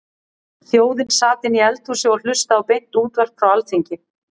Þjóðin sat inni í eldhúsi og hlustaði á beint útvarp frá Alþingi.